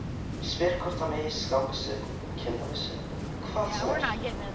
Ég spyr hvort hann eigi skammbyssu, kindabyssu, hvað sem er.